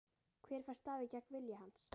Hver fær staðið gegn vilja hans?